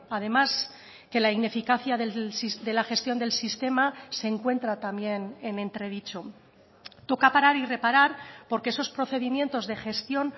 además que la ineficacia de la gestión del sistema se encuentra también en entredicho toca parar y reparar porque esos procedimientos de gestión